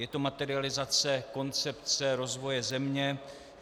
Je to materializace koncepce rozvoje země.